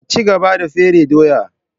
Ki cigaba da fere doya!